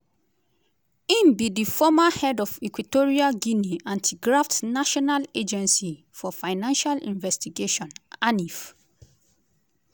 im be di former head of equatorial guinea anti-graft national agency for financial investigation (anif).